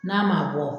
N'a ma bɔ